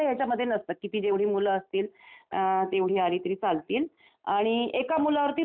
किती जेवढी मुलं असतील तेवढे आली तरी चालतील आणि एका मुलावरती राज्य द्यायचं.